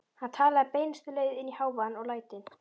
Hann talaði beinustu leið inn í hávaðann og lætin.